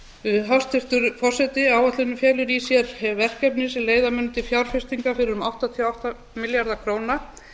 árum hæstvirtur forseti áætlunin felur í sér verkefni sem leiða munu til fjárfestinga fyrir um áttatíu og átta milljarða króna en þar af